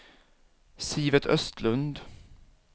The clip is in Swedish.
Sivert Östlund